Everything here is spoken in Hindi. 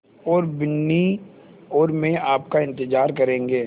और बिन्नी और मैं आपका इन्तज़ार करेंगे